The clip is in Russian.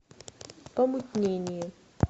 помутнение